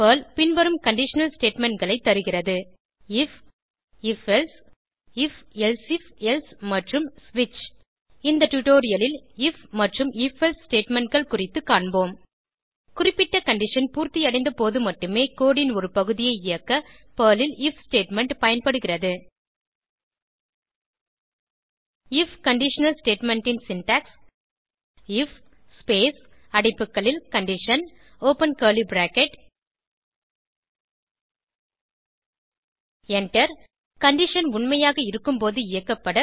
Perl பின்வரும் conditional statementகளை தருகிறது if if else if elsif else மற்றும் ஸ்விட்ச் இந்த டுடோரியலில் ஐஎஃப் மற்றும் if எல்சே statementகள் குறித்து காண்போம் குறிப்பிட்ட கண்டிஷன் பூர்த்தியடைந்த போது மட்டுமே கோடு ன் ஒரு பகுதியை இயக்க பெர்ல் ல் ஐஎஃப் ஸ்டேட்மெண்ட் பயன்படுகிறது ஐஎஃப் கண்டிஷனல் ஸ்டேட்மெண்ட் ன் சின்டாக்ஸ் ஐஎஃப் ஸ்பேஸ் அடைப்புகளில் condition open curly bracket enter condition உண்மையாக இருக்கும்போது இயக்கப்பட